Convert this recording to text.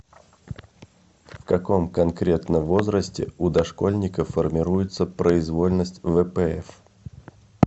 в каком конкретно возрасте у дошкольника формируется произвольность впф